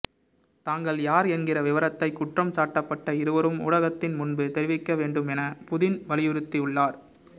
தாங்கள் யார் என்கிற விவரத்தை குற்றம் சாட்டப்பட்ட இருவரும் ஊடகத்தின் முன்பு தெரிவிக்க வேண்டும் என புதின் வலியுறுத்தியுள்ளார்